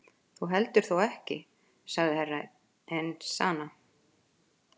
Þú heldur þó ekki sagði Herra Enzana.